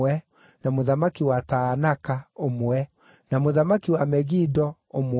na mũthamaki wa Taanaka, ũmwe, na mũthamaki wa Megido, ũmwe,